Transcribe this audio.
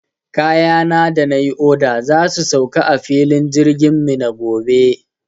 Kayana da na yi oda za su sauka a filin jirgin Minna gobe.